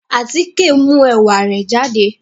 Àtike n mu ẹ̀wà re jàdé